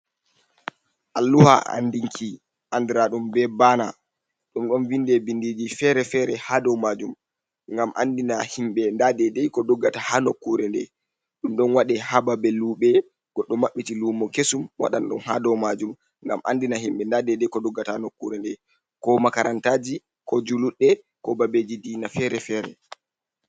Alluha anndinki anndiraaɗum be baana, ɗum ɗon vinde binndiiji fere-fere haa dow maajum, ngam anndina himɓe ndaa dedey ko doggata haa nokkure nde. Ɗum ɗon waɗe haa babe luɓe, goɗɗo maɓɓiti luumo kesum, waɗan ɗum haa dow maajum, ngam anndina himɓe, ndaa dedey ko doggata haa nokkuure nde, ko makarantaaji, ko juluɗɗe, ko babeji diina fere-fere.